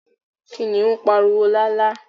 Kìnìún pariwo lálá